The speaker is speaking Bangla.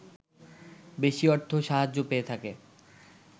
বেশি অর্থ সাহায্য পেয়ে থাকে